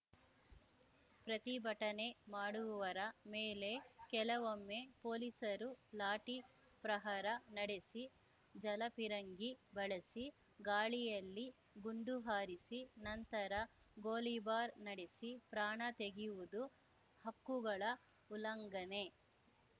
ಪ್ರತಿಭಟನೆ ಮಾಡುವವರ ಮೇಲೆ ಕೆಲವೊಮ್ಮೆ ಪೊಲೀಸರು ಲಾಠಿ ಪ್ರಹಾರ ನಡೆಸಿ ಜಲಫಿರಂಗಿ ಬಳಸಿ ಗಾಳಿಯಲ್ಲಿ ಗುಂಡು ಹಾರಿಸಿ ನಂತರ ಗೋಲಿಬಾರ್‌ ನಡೆಸಿ ಪ್ರಾಣ ತೆಗೆಯುವುದು ಹಕ್ಕುಗಳ ಉಲ್ಲಂಘನೆ